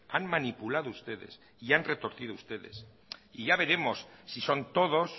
han manipulado ustedes y han retorcido ustedes y ya veremos si son todos